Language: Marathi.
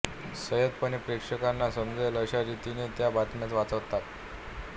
संयतपणे प्रेक्षकांना समजेल अशा रीतीने त्या बातम्या वाचतात